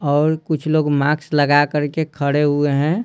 और कुछ लोग मास्क लगा कर के खड़े हुए हैं।